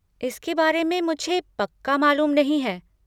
इसके बारे में मुझे पक्का मालूम नहीं है।